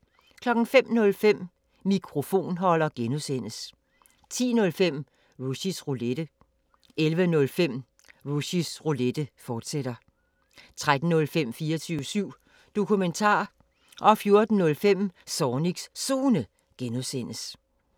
05:05: Mikrofonholder (G) 10:05: Rushys Roulette 11:05: Rushys Roulette, fortsat 13:05: 24syv Dokumentar 14:05: Zornigs Zone (G)